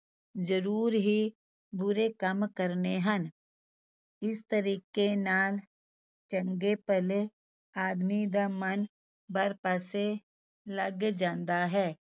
ਜ਼ਰੂਰ ਹੀ ਬੁਰੇ ਕੰਮ ਕਰਨੇ ਹਨ, ਇਸ ਤਰੀਕੇ ਨਾਲ ਚੰਗੇ ਭਲੇ ਆਦਮੀ ਦਾ ਮਨ ਬਰ ਪਾਸੇ ਲੱਗ ਜਾਂਦਾ ਹੈ।